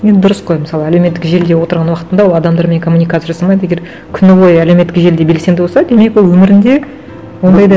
енді дұрыс қой мысалы әлеуметтік желіде отырған уақытында ол адамдармен коммуникация жасамайды егер күні бойы әлеуметтік желіде белсенді болса демек ол өмірінде ондай да